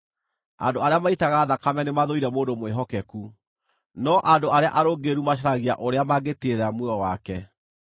Andũ arĩa maitaga thakame nĩmathũire mũndũ mwĩhokeku, no andũ arĩa arũngĩrĩru macaragia ũrĩa mangĩtiirĩrĩra muoyo wake.